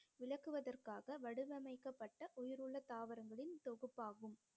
விளக்குவதற்காக வடிவமைக்கப்பட்ட உயிருள்ள தாவரங்களின் தொகுப்பாகும்